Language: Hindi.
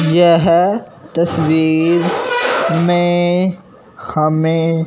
येह तस्वीर में हमें--